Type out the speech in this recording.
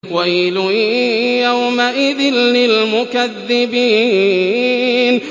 وَيْلٌ يَوْمَئِذٍ لِّلْمُكَذِّبِينَ